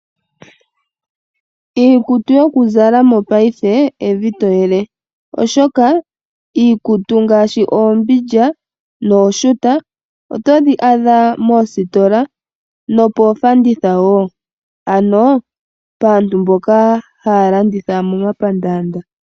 Iikutu yokuzala mongashingeyi evi to yele. Oshoka iikutu ngaashi oombindja nooshuta otodhi adha moositola nomoofanditha wo. Ano paantu mboka haya landitha momapandaanda.